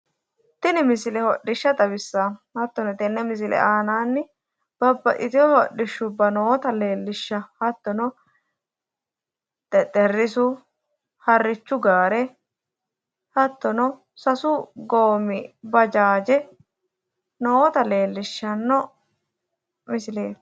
Tini misile hodhishsha xawissawo hattoni tenne misile aananni babbaxxitewo hodhishshubba noota leellishawo hattono xexxerisu harrichu gaare hattono sasu goommi bajaaje noota leellishshanno misileeti.